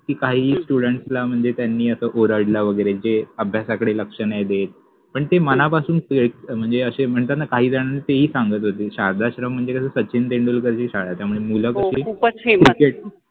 कि काहि स्टुड्ण्ट्स ला मनजे त्यानि ओरडला वगेरे जे अभ्यासाकडे लक्ष नाहि देत पन ते मनापासुन प्रय मनजे अशे मनतात न काहि जनाना तेहि सांगत होते. शारदाश्रम मनजे कस सचिन तेंडुलकरचि शाळा त्यामुळे मुल कसे हो खुपच क्रिकेट